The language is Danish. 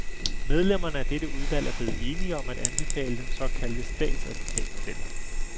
Medlemmerne af dette udvalg er blevet enige om at anbefale den såkaldte statsadvokatmodel.